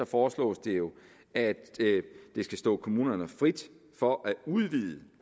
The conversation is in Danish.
foreslås det jo at det skal stå kommunerne frit for at udvide